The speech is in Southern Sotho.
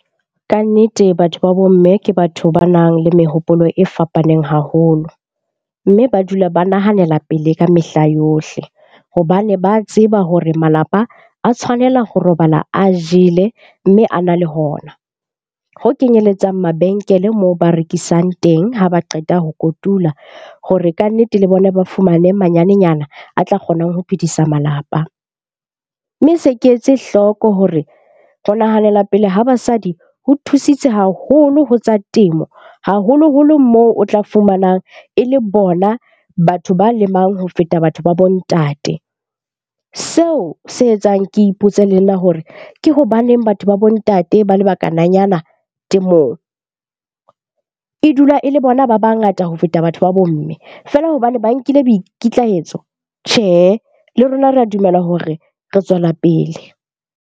Kannete batho ba bomme ke batho ba nang le mehopolo e fapaneng haholo. Mme ba dula ba nahanela pele ka mehla yohle. Hobane ba tseba hore malapa a tshwanela ho robala a jele mme a na le hona. Ho kenyelletsang mabenkele moo ba rekisang teng, ha ba qeta ho kotula hore kannete le bona ba fumane manyanenyana a tla kgonang ho phedisa malapa. Mme se ke etse hloko hore ho nahanela pele ha basadi ho thusitse haholo ho tsa temo, haholoholo moo o tla fumanang e le bona batho ba lemang ho feta batho ba bo ntate. Seo se etsang ke ipotse le nna hore ke hobaneng batho ba bo ntate ba le bakananyana temong? E dula e le bona ba bangata ho feta batho ba bo mme, feela hobane ba nkile boikitlahetso. Tjhe, le rona re a dumela hore re tswela pele.